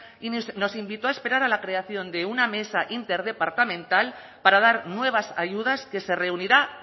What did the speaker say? y nos invitó a esperar a la creación de una mesa interdepartamental para dar nuevas ayudas que se reunirá